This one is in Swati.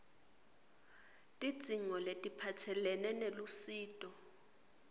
tidzingo letiphatselene nelusito